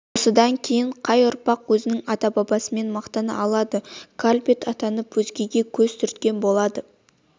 осыдан кейін қай ұрпақ өзінің ата-бабасымен мақтана алады калбит атанып өзгеге көз түрткі болады